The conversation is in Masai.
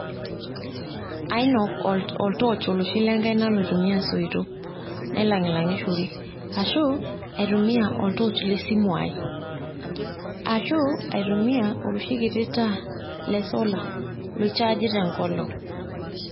Ainok oltorch oloshi le nkaina loitumiya soitok, nailang`ishorishore ashu aitumia oltoch le simu ai, ashu aitumia oloshi kiti taa le solar loichaji te nkolong.